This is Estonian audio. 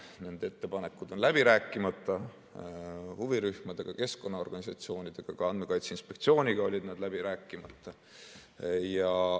Nende ettepanekud on huvirühmade ja keskkonnaorganisatsioonidega läbi rääkimata, ka Andmekaitse Inspektsiooniga olid nad läbi rääkimata.